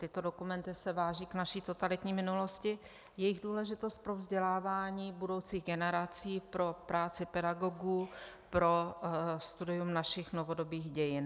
Tyto dokumenty se vážou k naší totalitní minulosti, jejich důležitost pro vzdělávání budoucích generací, pro práci pedagogů, pro studium našich novodobých dějin.